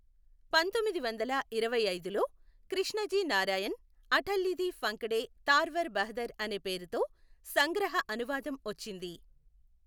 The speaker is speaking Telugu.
పంతొమ్మిదివందల ఇరవైఐదులో కృష్ణజీ నారాయణ్ అఠల్యిది ఫంకడే తార్వర్ బహదర్ అనే పేరుతో సంగ్రహ అనువాదం వచ్చింది.